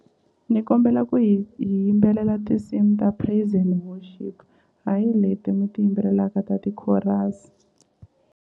Ni kombela ku hi hi yimbelela tinsimu ta praise and worship hayi leti mi ti yimbelelaka ta ti-chorus.